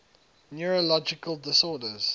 neurological disorders